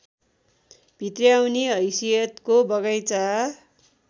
भित्र्याउने हैसियतको बगैँचा